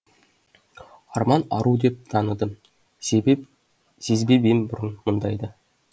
арман ару деп таныдым сезбеп ем бұрын мұндайды